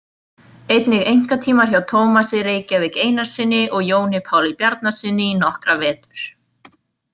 Einnig einkatímar hjá Tómasi Reykjavík Einarssyni og Jóni Páli Bjarnasyni í nokkra vetur.